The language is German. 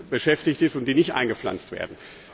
beschäftigt ist und die nicht eingepflanzt werden.